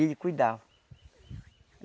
Ele cuidava.